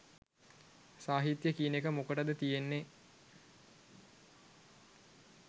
සාහිත්‍ය කියන එක මොකටද තියෙන්නෙ